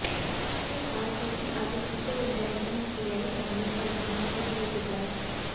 इसमें खास है कि आर्टिफिशियल इंटेलीजेंस एआई तकनीक का इस्तेमाल शुरू हो चुका है